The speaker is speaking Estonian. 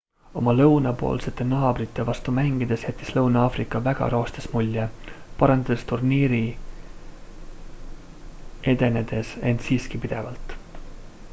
oma lõunapoolsete naabrite vastu mängides jättis lõuna-aafrika väga roostes mulje parandades turniiri edenedes end siiski pidevalt